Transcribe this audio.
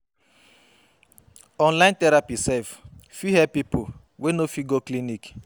Online therapy sef fit help pipo wey no fit go clinic